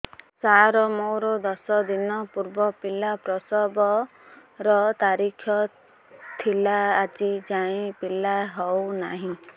ସାର ମୋର ଦଶ ଦିନ ପୂର୍ବ ପିଲା ପ୍ରସଵ ର ତାରିଖ ଥିଲା ଆଜି ଯାଇଁ ପିଲା ହଉ ନାହିଁ